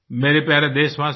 मेरे प्यारे देशवासियो